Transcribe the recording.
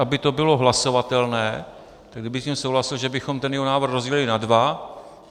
Aby to bylo hlasovatelné, tak kdyby s tím souhlasil, že bychom ten jeho návrh rozdělili na dva.